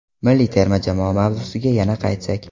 Milliy terma jamoa mavzusiga yana qaytsak.